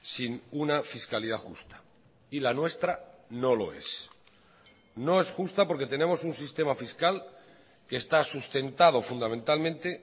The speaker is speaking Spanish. sin una fiscalidad justa y la nuestra no lo es no es justa porque tenemos un sistema fiscal que está sustentado fundamentalmente